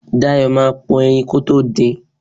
Dayo máa po ẹyin kótó din.